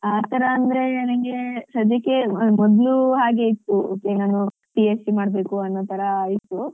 ಆತರ ಅಂದ್ರೆ ನನ್ಗೆ ಸದ್ಯಕ್ಕೆ ಮೊದ್ಲು ಹಾಗೆ ಇತ್ತು okay ನಾನು B. Sc. ಮಾಡ್ಬೇಕು ಅನ್ನೋತರ ಇತ್ತು